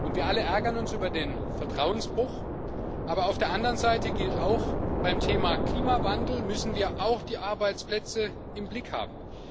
Wir alle ärgern uns über den Vertrauensbruch, aber auf der anderen Seite gilt auch Beim Thema Klimawandel müssen wir auch die Arbeitsplätze im Blick haben.